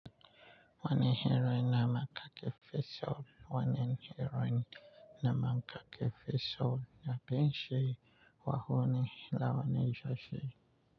Wani hira na ne kafe so? Wani hira na ma kafe so na binshi wahoni la wane ja shi.